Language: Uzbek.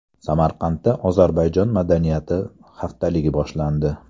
Samarqandda Ozarbayjon madaniyati haftaligi boshlandi.